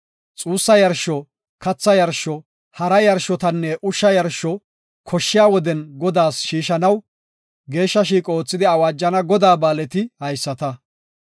Xuussa yarsho, katha yarsho, hara yarshotanne ushsha yarsho koshshiya woden Godaas shiishanaw geeshsha shiiqo oothidi awaajana Godaa ba7aaleti haysata.